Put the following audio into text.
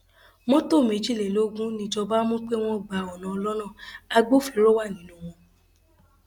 mọtò méjìlélógún níjọba mú pé wọn gba ọnà ọlọnà agbófinró wà nínú wọn